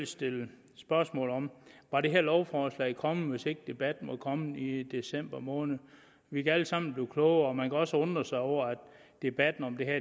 stille spørgsmålet var det her lovforslag kommet hvis ikke debatten var kommet i december måned vi kan alle sammen blive klogere man kan også undre sig over at debatten om det her